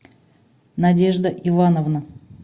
надежда ивановна